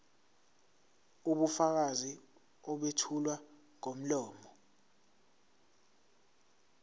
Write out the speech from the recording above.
ubufakazi obethulwa ngomlomo